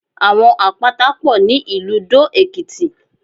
Àwọn Àpáta pọ̀ ní ìlú Dó-Èkìtì.